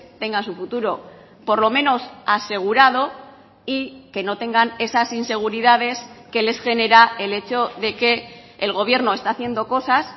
tengan su futuro por lo menos asegurado y que no tengan esas inseguridades que les genera el hecho de que el gobierno está haciendo cosas